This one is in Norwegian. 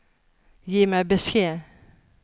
Gi meg beskjed